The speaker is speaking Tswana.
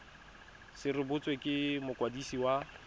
se rebotswe ke mokwadisi wa